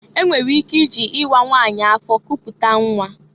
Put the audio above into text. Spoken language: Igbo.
E nwere ike iji ịwa nwanyị afọ kuputa nnwa.